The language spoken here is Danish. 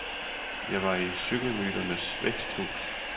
Jeg var i cykelmyternes væksthus.